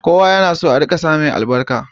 Kowa yana so ake sa mai albarka